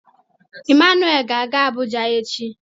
Emmanuel ga-aga Abuja echi.